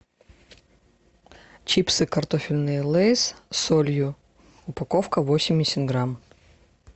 чипсы картофельные лейс с солью упаковка восемьдесят грамм